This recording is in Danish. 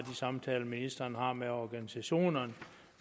samtaler ministeren har med organisationerne